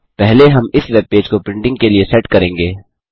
पहले हम इस वेब पेज को प्रिंटिंग के लिए सेट करें